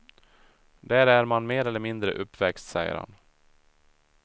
Där är man mer eller mindre uppväxt, säger han.